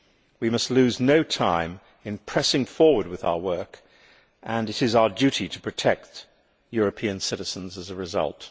We must lose no time in pressing forward with our work and it is our duty to protect European citizens as a result.